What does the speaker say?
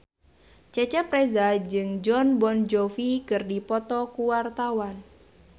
Cecep Reza jeung Jon Bon Jovi keur dipoto ku wartawan